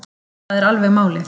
Það er alveg málið